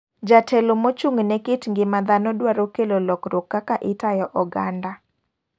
Jatelo mochung ne kit ngima dhano dwaro kelo lokruok kaka itayo oganda.